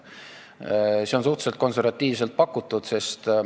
Too 100 miljonit on suhteliselt konservatiivselt pakutud.